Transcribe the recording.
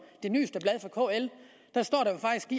det nyeste blad fra kl